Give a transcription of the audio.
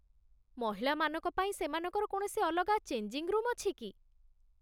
ମହିଳାମାନଙ୍କ ପାଇଁ ସେମାନଙ୍କର କୌଣସି ଅଲଗା ଚେଞ୍ଜିଙ୍ଗ୍ ରୁମ୍ ଅଛି କି?